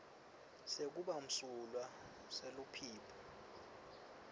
sekuba msulwa seluphiko